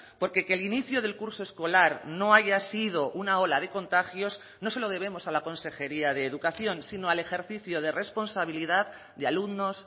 porque que el inicio del curso escolar no haya sido una ola de contagios no se lo debemos a la consejería de educación sino al ejercicio de responsabilidad de alumnos